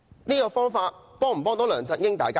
這種方法能夠幫助梁振英嗎？